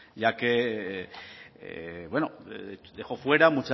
ya que bueno dejó fuera